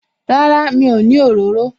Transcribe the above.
Rárá, mi ò ní òróró